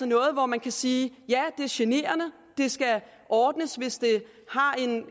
noget hvor man kan sige ja det er generende det skal ordnes hvis det har